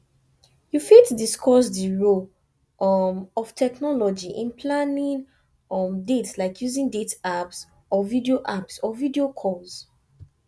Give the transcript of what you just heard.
you fit discuss di role um of technology in planning um dates like using dating apps or video apps or video calls